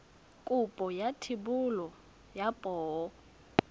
kopo ya thebolo ya poo